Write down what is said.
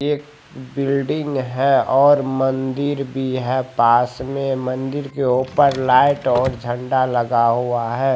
एक बिल्डिंग हैऔर मंदिर भी हैं पास में मंदिर के ऊपर लाइट और झंडा भी लगे है।